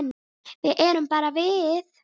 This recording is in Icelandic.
Við erum bara við